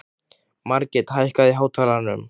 Margit, hækkaðu í hátalaranum.